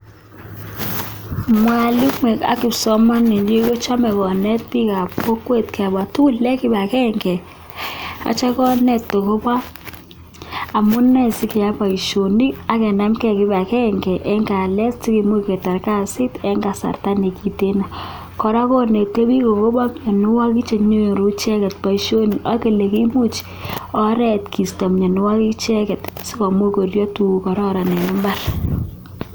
(Mwalimu)AK.kipsomaninik konete biik ako pa mianwagik cheyachen Eng imbar